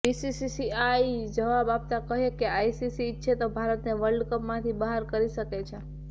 BCCI જવાબ આપ્તા કહ્યું કે આઈસીસી ઇચ્છે તો ભારતને વર્લ્ડ કપમાંથી બહાર કરી શકે છે